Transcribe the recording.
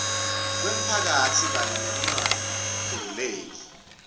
kwemphakatsi kanye nekungakhululeki